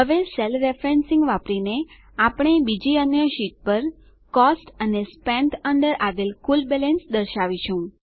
હવે cell referencing વાપરીને આપણે બીજી અન્ય શીટ પર કોસ્ટ અને સ્પેન્ટ ન્દ્ર આવેલ કુલ બેલેન્સ દર્શાવીશું